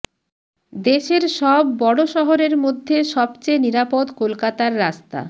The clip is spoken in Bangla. দেশের সব বড় শহরের মধ্যে সবচেয়ে নিরাপদ কলকাতার রাস্তা